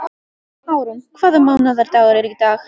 Árún, hvaða mánaðardagur er í dag?